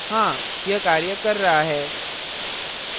हाँ! यह कार्य कर रहा है